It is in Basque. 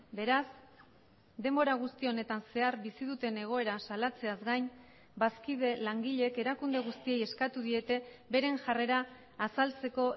beraz denbora guzti honetan zehar bizi duten egoera salatzeaz gain bazkide langileek erakunde guztiei eskatu diete beren jarrera azaltzeko